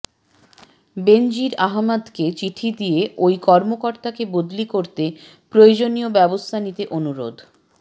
বেনজীর আহমেদকে চিঠি দিয়ে ওই কর্মকর্তাকে বদলি করতে প্রয়োজনীয় ব্যবস্থা নিতে অনুরোধ